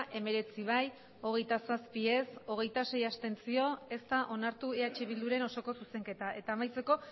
hemeretzi bai hogeita zazpi ez hogeita sei abstentzio ez da onartu eh bilduren osoko zuzenketa eta amaitzeko